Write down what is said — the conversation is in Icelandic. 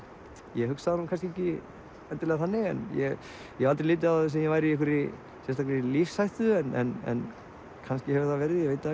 ég hugsa það nú kannski ekki endilega þannig ég hef aldrei litið á það sem ég væri í einhverri sérstakri lífshættu en kannski hefur það verið ég veit það